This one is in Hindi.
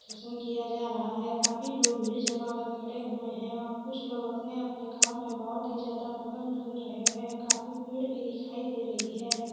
किया जा रहा है काफी लोग भीड़ जमा कर खड़े हुए हैं और कुछ लोग अपने-अपने काम में बहुत ही ज्यादा मगन लग रहे है काफी पेड़ भी दिखाई दे रही है।